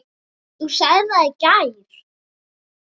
Þú sagðir það í gær.